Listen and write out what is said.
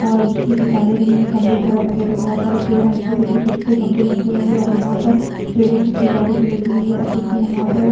अ बिजली की तारे गई है खम्भे सड़क अगल- बगल बहुत सारे पेड़ और नीचे देखिये छोटे- छोटे गंबे लगे हुए है और यहाँ पर पेड़ो की फूलवारी लगी हुई है और देखिये यहाँ पर --